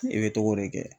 I bɛ togo de kɛ